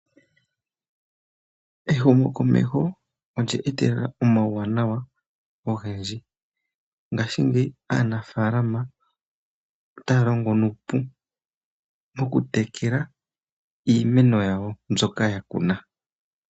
Ehumokomeho olya etelela omauwanawa ogendji. Ngaashingeyi aanafaalama ota ya longo nuupu mokutekela iimeno yawo mbyoka ya kuna.